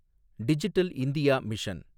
digital India mission